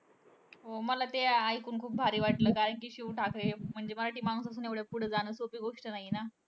हो. मला ते अं ऐकून खूप भारी वाटलं. कारण कि शिव ठाकरे हे म्हणजे मराठी माणूस असून एवढ्या पुढे जाणं सोपी गोष्ट नाहीये ना.